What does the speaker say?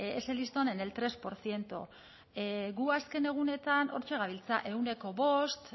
ese listón en el tres por ciento gu azken egunetan hortxe gabiltza ehuneko bost